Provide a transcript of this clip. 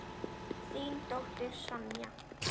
Þín dóttir, Sonja.